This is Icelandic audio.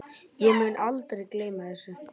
Ég mun aldrei gleyma þessu.